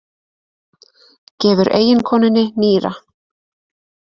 Gefur eiginkonunni nýra